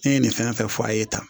Ne ye nin fɛn fɛn fɔ a' ye tan